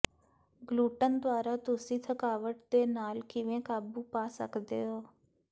gluten ਦੁਆਰਾ ਤੁਸੀਂ ਥਕਾਵਟ ਦੇ ਨਾਲ ਕਿਵੇਂ ਕਾਬੂ ਪਾ ਸਕਦੇ ਹੋ